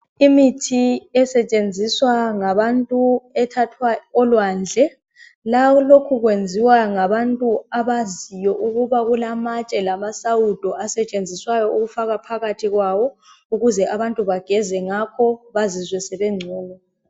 Imithi esetshenziswa ngabantu ethathwa olwandle. Lokhu kwenziwa ngabantu abaziyo ukuba kulamatshe lamasawudo asetshenziswayo ukufaka phakathi kwawo ukuze abantu bageze ngakho bazizwe sebengcono.